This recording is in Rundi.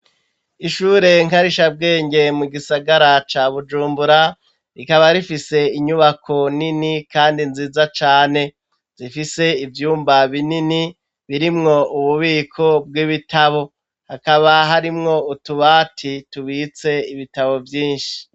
Ishure nkarishabwenge, mu gisagara ca Bujumbura, rikaba rifise inyubako nini kandi nziza cane; zifise ivyumba binini, birimwo ububiko bw'ibitabo, hakaba harimwo utubati tubitse ibitabo vyinshi.